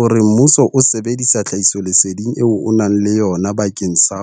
O re mmuso o sebedisa tlhahisoleseding eo o nang le yona bakeng sa